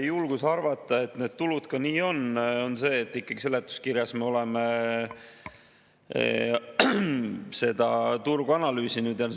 Julgust arvata, et need tulud ka sellised on, annab see, et ikkagi seletuskirjas me oleme turgu analüüsinud.